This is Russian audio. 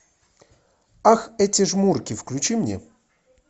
ах эти жмурки включи мне